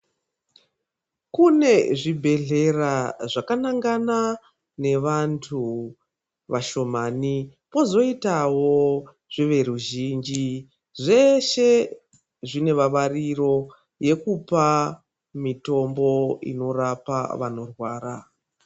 Kune zvibhedhlera zvakanangana nevantu vashomani, kozoitawo zveveruzhinji, zveshe zvine vavariro yekupa mitombo inorapa vanorwara.